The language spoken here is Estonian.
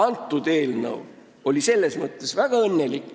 Selle eelnõuga läks selles mõttes väga õnnelikult.